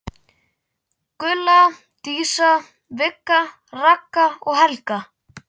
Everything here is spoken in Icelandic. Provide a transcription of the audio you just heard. Gulla, Dísa, Vigga, Ragga og Helga.